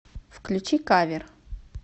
включи кавер